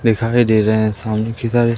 दिखाई दे रहा है सामने किधर है।